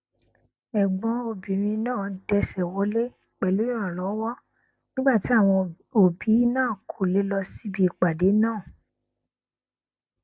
ẹgbọn obìnrin náà dẹsẹ wọlé pẹlú ìrànlọwọ nígbà tí àwọn òbí náà kò lè lọ síbi ìpàdé náà